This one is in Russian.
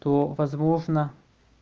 то возможно